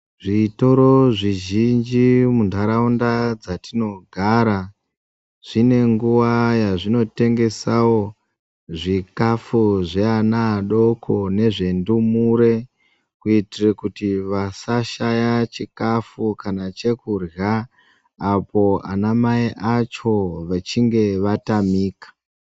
Zvitoro zvizhinji zviri muntaraunda dzatinogara zvinenguwa yazvinotengesawo zvikafu zveana adoko nezvendumure kuitire kuti vasashaya chikafu kana chekurya apo ana mai acho vechinge vatamika.